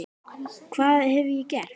hvað hef ég gert?